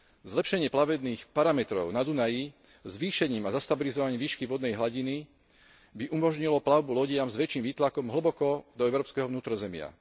Zlepšenie plavebných parametrov na Dunaji zvýšením a stabilizovaním výšky vodnej hladiny by umožnilo plavbu lodiam s väčším výtlakom hlboko do európskeho vnútrozemia.